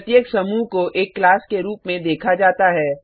प्रत्येक समूह को एक क्लास के रूप में देखा जाता है